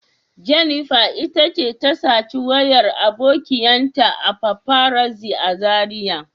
Jennifer ta ce ta saci wayar abokiyan ta a paparazzi a Zaria.